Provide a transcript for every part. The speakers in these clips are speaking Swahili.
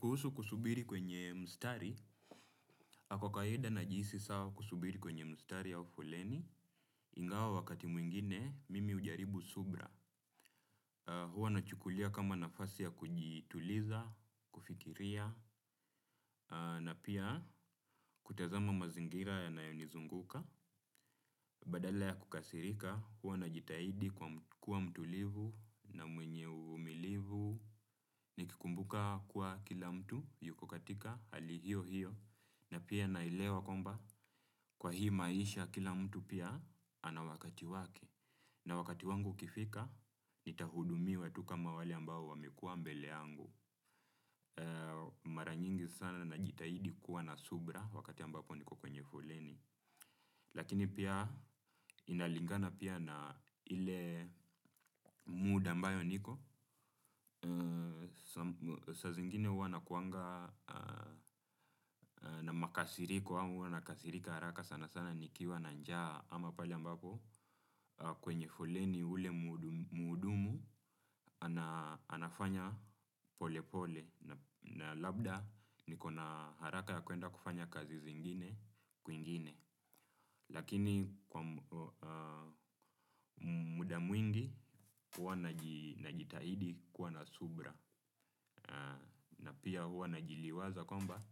Kuhusu kusubiri kwenye mstari, kwa kawaida najihisi sawa kusubiri kwenye mstari au foleni. Ingawa wakati mwingine, mimi hujaribu subira. Huwa nachukulia kama nafasi ya kujituliza, kufikiria, na pia kutazama mazingira yanayonizunguka. Badala ya kukasirika, huwa najitahidi kuwa mtulivu na mwenye uvumilivu. Nikikumbuka kuwa kila mtu yuko katika hali hiyo hiyo. Na pia naelewa kwamba kwa hii maisha kila mtu pia anawakati wake. Na wakati wangu ukifika nitahudumiwa tu kama wale ambao wamekuwa mbele yangu. Mara nyingi sana najitahidi kuwa na subira wakati ambapo niko kwenye foleni. Lakini pia inalingana pia na ile muda ambayo niko. Saa zingine huwa nakuanga na makasiriko ama huwa nakasirika haraka sana sana nikiwa na njaa ama pala ambapo kwenye foleni ule mhudumu ana anafanya polepole na labda niko na haraka ya kuenda kufanya kazi zingine kwingine lakini muda mwingi huwa najitahidi kuwa na subira na pia huwa najiliwaza kwamba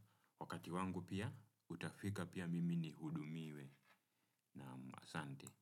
wakati wangu pia utafika pia mimi nihudumiwe naam asante.